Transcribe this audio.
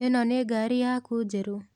ĩno nĩ ngaari yaku njerũ?